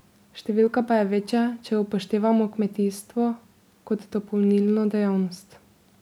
Številka pa je večja, če upoštevamo kmetijstvo kot dopolnilno dejavnost.